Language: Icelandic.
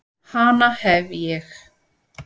Hana hef ég.